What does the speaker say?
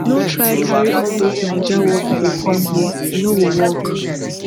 no try carry all those naija workflow com here e no go work